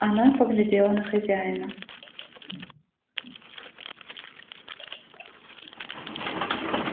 она поглядела на хозяина